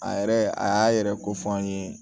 A yɛrɛ a y'a yɛrɛ ko fɔ an ye